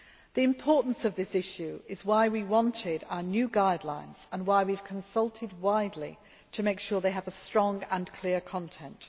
The importance of this issue is why we wanted our new guidelines and why we have consulted widely to make sure that they have a strong and clear content.